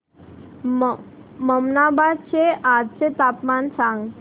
ममनाबाद चे आजचे तापमान सांग